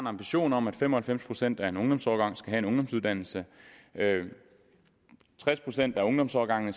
ambition om at fem og halvfems procent af en ungdomsårgang skal have en ungdomsuddannelse at tres procent af en ungdomsårgang i